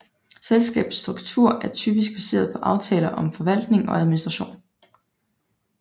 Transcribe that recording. Selskabets struktur er typisk baseret på aftaler om forvaltning og administration